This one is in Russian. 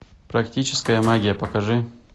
практическая магия покажи